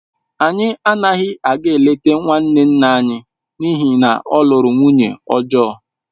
Anyị anaghị aga eleta nwanne nna anyị n’ihi na ọ lụrụ nwunye ọjọọ